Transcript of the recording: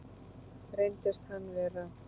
Reyndist hann vera